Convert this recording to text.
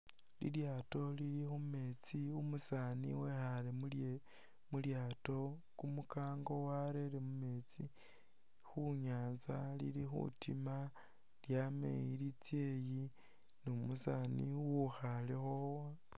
Lilyaato Lili khumeetsi umusaani wekhale khu mulyaato kumunkango warere mumeetsi khu'nyanza Lili khutima lyama eyi litsa eyi numusani uwukhalekho